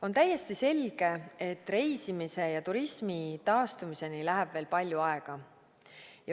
On täiesti selge, et reisimise ja turismi taastumiseni läheb veel palju aega.